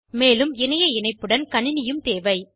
மேலும் இணைய இணப்புடன் கணினியும் தேவை